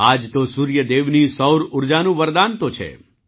આ જ તો સૂર્ય દેવની સૌર ઊર્જાનું વરદાન તો છે